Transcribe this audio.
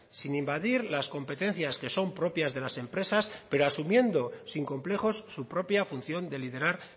sin invadir las competencias que son propias de las empresas pero asumiendo sin complejos su propia función de liderar